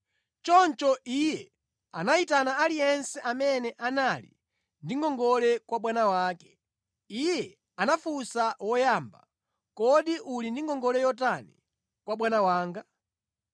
“Choncho iye anayitana aliyense amene anali ndi ngongole kwa bwana wake. Iye anafunsa woyamba, ‘Kodi uli ndi ngongole yotani kwa bwana wanga?’